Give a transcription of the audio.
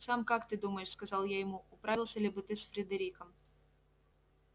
сам как ты думаешь сказал я ему управился ли бы ты с фридериком